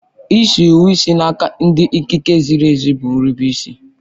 Ịso iwu sị n'aka ndị ikike ziri ezi bụ nrubeisi